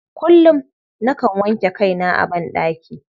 Kullum, nakan wanke kaina a banɗaki.